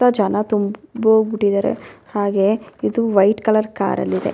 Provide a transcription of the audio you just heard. ಜನ ತುಂಬ್ ಹೋಗ್ಬಿಟ್ಟಿದ್ದಾರೆ ಹಾಗೆ ಇದು ವೈಟ್ ಕಲರ್ ಕಾರ್ ಅಲ್ ಇದೆ .